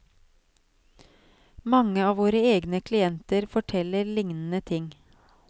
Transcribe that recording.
Mange av våre egne klienter forteller lignende ting.